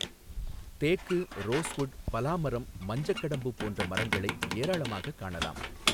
தேக்கு, ரோஸ்வுட், பலா மரம், மஞ்சக்கடம்பு போன்ற மரங்களை ஏராளமாகக் காணலாம்.